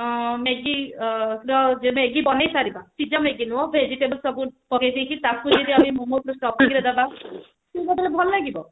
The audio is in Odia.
ଅ Maggie ବନେଇ ପାରିବା ସିଝା Maggie ନୁହଁ ସବୁ vegetable ସବୁ ପକେଇ ଦେଇକି ତାକୁ ଯଦି ଆଣି ମୋମୋସ ର stopping ରେ ଦେବା କଣ ଭଲ ଲାଗିବ